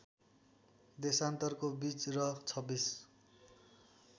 देशान्तरको बीच र २६